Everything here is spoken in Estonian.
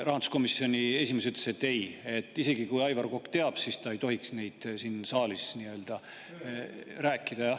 Rahanduskomisjoni esimees ütles, et ei, isegi kui Aivar Kokk teab, siis ta ei tohiks seda siin saalis rääkida.